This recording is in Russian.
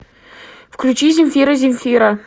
включи земфира земфира